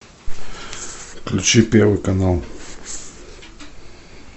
включи первый канал